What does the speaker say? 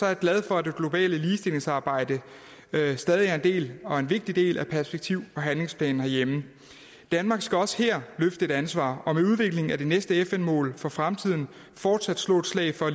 jeg glad for at det globale ligestillingsarbejde stadig er en del og en vigtig del af perspektiv og handlingsplanen herhjemme danmark skal også her løfte et ansvar og med udviklingen af det næste fn mål for fremtiden fortsat slå et slag for